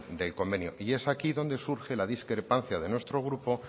del convenio es aquí donde surge la discrepancia de nuestro grupo